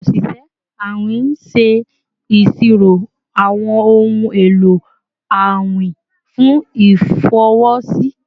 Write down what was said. Awọn oṣiṣẹ awin ṣe iṣiro awọn ohun elo awin fun ifọwọsi